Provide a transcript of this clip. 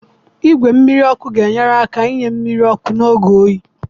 Igwe mmiri ọkụ ga-enyere aka inye mmiri ọkụ n'oge oyi.